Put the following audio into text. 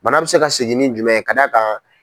Bana bɛ se ka seginin jumɛn ye ka da a kan.